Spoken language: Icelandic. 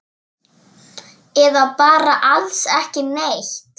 Eða bara alls ekki neitt?